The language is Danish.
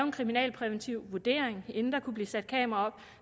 en kriminalpræventiv vurdering inden der kunne blive sat kameraer op